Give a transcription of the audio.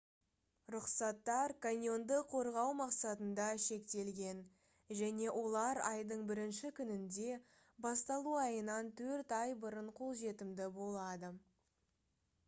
рұқсаттар каньонды қорғау мақсатында шектелген және олар айдың 1-ші күнінде басталу айынан төрт ай бұрын қолжетімді болады